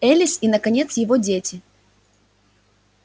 элис и наконец его дети